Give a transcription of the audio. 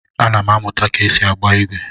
Ana m amụta ka esi agba igwe.